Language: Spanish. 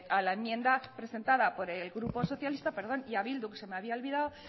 a la enmienda presentada por el grupo socialista perdón y a bildu que se me había olvidado